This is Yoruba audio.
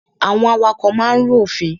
Àwọn awakọ̀ máa ń rú òfin.